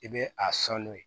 I bɛ a san n'o ye